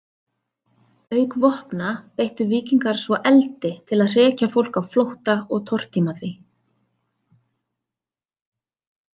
Auk vopna beittu víkingar svo eldi til að hrekja fólk á flótta og tortíma því.